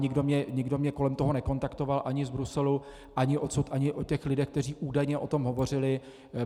Nikdo mě kolem toho nekontaktoval ani z Bruselu ani odsud ani od těch lidí, kteří údajně o tom hovořili.